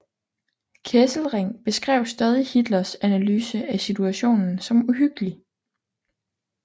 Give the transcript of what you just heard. Kesselring beskrev stadig Hitlers analyse af situationen som uhyggelig